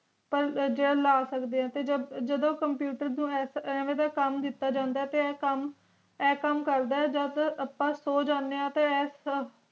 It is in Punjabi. ਪਾਰ ਜੇ ਲਾ ਸਕਦੀਆਂ ਤੇ ਜਾਦੂ computer ਨੂੰ ਐਵੇਂ ਦਾ ਕਾਮ ਦਿਤਾ ਜਾਂਦਾ ਤੇ ਇਹ ਕਾਮ ਇਹ ਕਾਮ ਕਰਦਾ ਜਬ ਤਕ ਅੱਪਾ ਸੋ ਜਾਣਿਆ ਤੇ ਐਸ ਕੰਪਿਊਟਰ